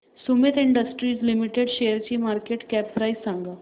Sumeet industries limited शेअरची market cap price सांगा